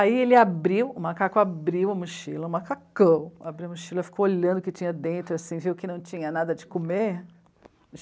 Aí ele abriu, o macaco abriu a mochila, um macacão, abriu a mochila, ficou olhando o que tinha dentro assim, viu, que não tinha nada de comer...